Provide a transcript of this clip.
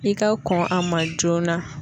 I ka kɔn a ma joona.